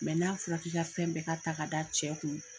Mɛ n'a fɔra k'i ka fɛn bɛɛ ka ta ka da cɛ kun,